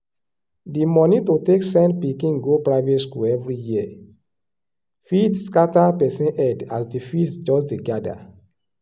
di money to take send pikin go private school every year fit scatter person head as di fees just dey gather.